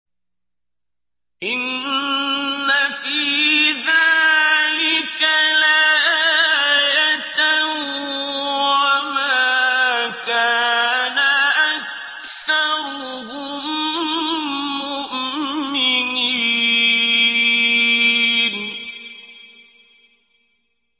إِنَّ فِي ذَٰلِكَ لَآيَةً ۖ وَمَا كَانَ أَكْثَرُهُم مُّؤْمِنِينَ